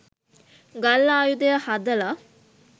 ගල් ආයුධය හදල